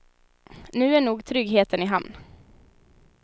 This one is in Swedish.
Nu är nog tryggheten i hamn.